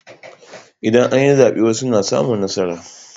Idan an yi zaɓe wasu suna samun nasara.